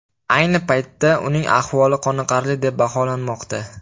Ayni paytda uning ahvoli qoniqarli deb baholanmoqda.